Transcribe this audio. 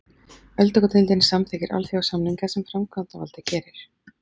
Öldungadeildin samþykkir alþjóðasamninga sem framkvæmdavaldið gerir.